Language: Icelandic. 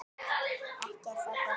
Ekki er það gott.